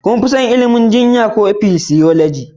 Shin kun fi son ilimin jinya ko Physiology